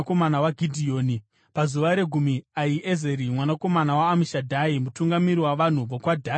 Pazuva regumi, Ahiezeri mwanakomana waAmishadhai, mutungamiri wavanhu vokwaDhani, akauya nechipiriso.